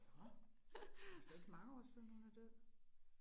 Nåh. Er det så ikke mange år siden hun er død?